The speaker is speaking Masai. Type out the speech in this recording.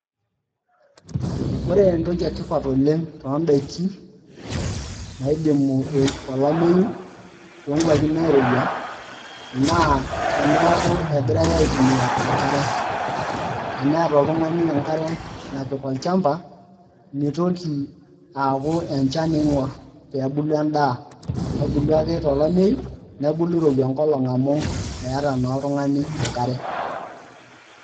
Ore entoki etipat oleng too daikin naidimi olameyu, too nkuapi naairowua naa teneeku egirae aitumia enkare, teneeta oltung'ani enkare napik olchampa, mitoki aaku enchan iing'or peeylu edaa. Kebulu ake tolameyu nebulu irowua enkolong' amu eeta naa oltung'ani enkare.